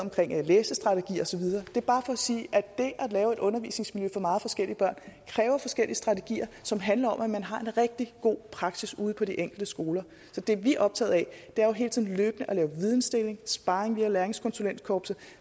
med læsestrategi og sige at det at lave et undervisningsmiljø for meget forskellige børn kræver forskellige strategier som handler om at man har en rigtig god praksis ude på de enkelte skoler så det vi er optaget af er jo hele tiden løbende at lave vidensdeling og sparring via læringskonsulentkorpset